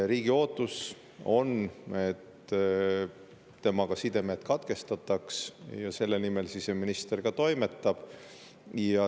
Riigi ootus on, et sidemed katkestataks, selle nimel siseminister ka toimetab.